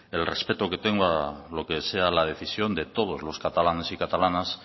el respeto que tengo a lo que sea la decisión de todos los catalanes y catalanas